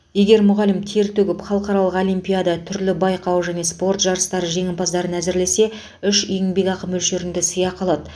егер мұғалім тер төгіп халықаралық олимпиада түрлі байқау және спорт жарыстары жеңімпазын әзірлесе үш еңбекақы мөлшерінде сыйақы алады